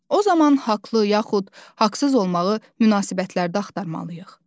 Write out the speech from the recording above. O zaman haqlı yaxud haqsız olmağı münasibətlərdə axtarmalıyıq.